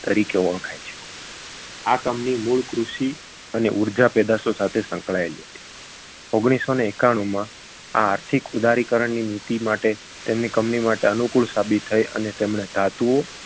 તરીકે ઓળખાય છે આ company મૂળ કૃષિ અને ઊર્જા પેદાશો સાથે સંકળાયેલી હતી ઓગણીસસોને એકાણુમાં આર્થિક ઉદારીકરણની નીતિ માટે તેમની company માટે અનુકૂળ સાબિત થઈ અને તેમણે ધાતુઓ